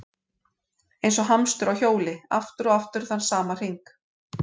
Eins og hamstur á hjóli, aftur og aftur þann sama hring.